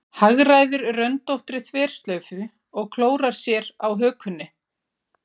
Hagræðir röndóttri þverslaufu og klórar sér á hökunni.